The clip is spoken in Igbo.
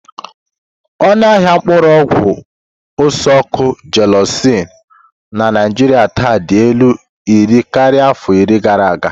Ọnụ ahịa mkpuru ogwu ose-oku Gelusil na Naijiria taa dị elu iri karịa afọ iri gara aga.